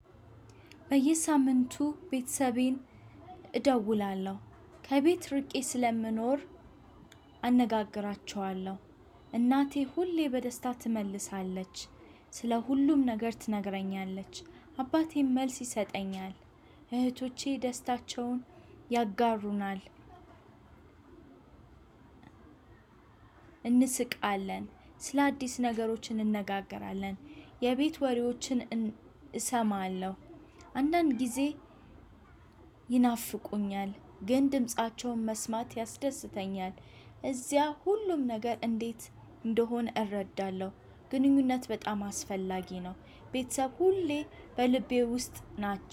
በየሳምንቱ ቤተሰቤን እደውላለው። ከቤት ርቄ ስለምኖር አነጋግራችኋለው። እናቴ ሁሌ በደስታ ትመልሳለች። ስለ ሁሉም ነገር ትነግረኛለች። አባቴም መልስ ይሰጠኛል። እህቶቼ ደስታቸውን ያጋሩናል። እንስቃለን ስለአዲስ ነገሮች እንነጋገራለን። የቤት ወሬዎችን እን እሰማለው። አንዳንድ ጊዜ። ይናፍቁኛል ግን ድምፃቸውን መስማት ያስደስተኛል። እዚያ ሁሉም ነገር እንዴት እንደሆነ እረዳለው። ግንኙነት በጣም አስፈላጊ ነው። ቤተሰብ ሁሌ በልቤ ውስጥ ናቸው